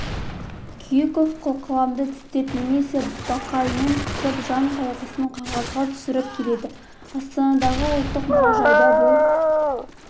күйіков қылқаламды тістеп немесе бақайымен қысып жан қайғысын қағазға түсіріп келеді астанадағы ұлттық мұражайда бұл